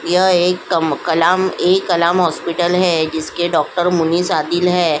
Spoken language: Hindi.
यह एक कम कलाम ए कलाम हॉस्पिटल है जिसके डॉक्टर मुनिस आदिल है।